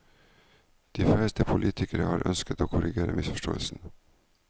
De færreste politikere har ønsket å korrigere misforståelsen.